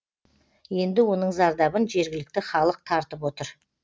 енді оның зардабын жергілікті халық тартып отыр